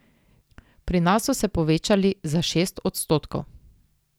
Pri nas so se povečali za šest odstotkov.